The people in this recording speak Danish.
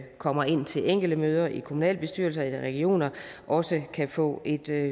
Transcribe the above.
kommer ind til enkelte møder i kommunalbestyrelser eller regioner også kan få et